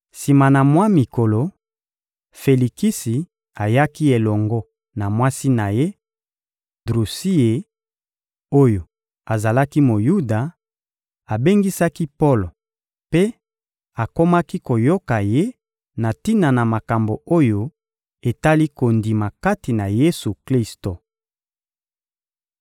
Sima na mwa mikolo, Felikisi ayaki elongo na mwasi na ye, Drusiye, oyo azalaki Moyuda; abengisaki Polo mpe akomaki koyoka ye na tina na makambo oyo etali kondima kati na Yesu-Klisto.